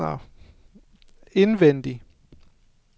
indvendig